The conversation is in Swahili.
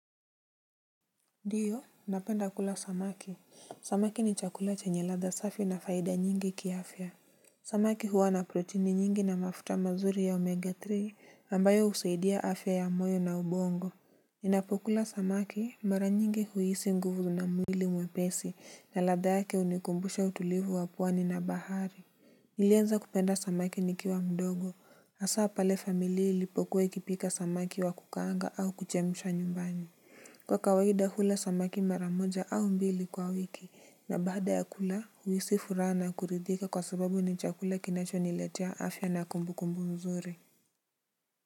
Ndiyo, napenda kula samaki. Samaki ni chakula chenye ladha safi na faida nyingi kiafya. Samaki huwa na proteini nyingi na mafuta mazuri ya omega-3 ambayo husaidia afya ya moyo na ubongo. Ninapokula samaki mara nyingi huhisi nguvu na mwili mwepesi na ladha yake hunikumbusha utulivu wa pwani na bahari. Nilianza kupenda samaki nikiwa mdogo. Hasaa pale familia ilipokuwa ikipika samaki wa kukaanga au kuchemsha nyumbani. Kwa kawaida hula samaki mara moja au mbili kwa wiki na baada ya kula huhisi furaha na kuridhika kwa sababu ni chakula kinachoniletea afya na kumbukumbu mzuri.